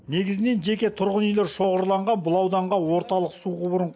негізінен жеке тұрғын үйлер шоғырланған бұл ауданға орталық су құбырын